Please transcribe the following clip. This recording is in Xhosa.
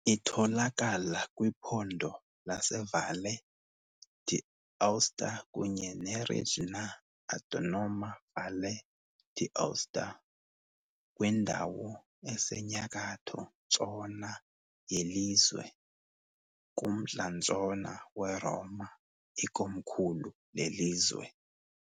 Itholakala kwiphondo laseValle d'Aosta kunye ne-Regionae Autonoma Valle d'Aosta, kwindawo esenyakatho-ntshona yelizwe, kumntla-ntshona weRoma, ikomkhulu lelizwe.